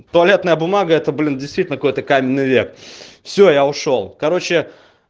туалетная бумага это блин действительно какой-то каменный век всё я ушёл короче